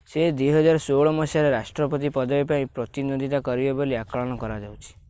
ସେ 2016 ମସିହାରେ ରାଷ୍ଟ୍ରପତି ପଦବୀ ପାଇଁ ପ୍ରତିଦ୍ୱନ୍ଦ୍ୱିତା କରିବେ ବୋଲି ଆକଳନ କରାଯାଉଛି